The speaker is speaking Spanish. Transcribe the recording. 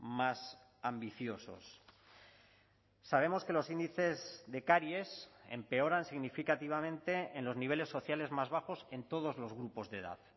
más ambiciosos sabemos que los índices de caries empeoran significativamente en los niveles sociales más bajos en todos los grupos de edad